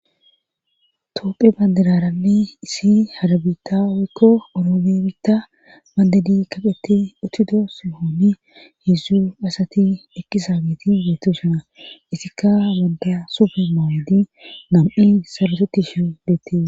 Toopphe bandararanni isi harabita wekko oroome biitta mandadi kaqeti ottido sohooni heedzdzu asati ekkisa geti geettushina isikka wanda sufe maawedi nam'i sabatoti shu deette.